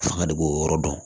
Fanga de b'o yɔrɔ dɔn